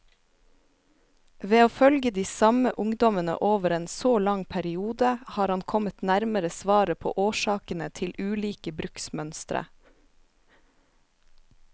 Ved å følge de samme ungdommene over en så lang periode, har han kommet nærmere svaret på årsakene til ulike bruksmønstre.